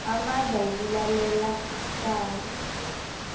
amandla wokulalela icala